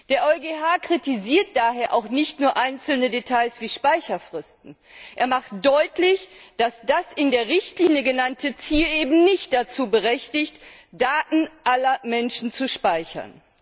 Der EuGH kritisiert daher auch nicht nur einzelne Details wie Speicherfristen, er macht deutlich, dass das in der Richtlinie genannte Ziel eben nicht dazu berechtigt, Daten aller Menschen zu speichern.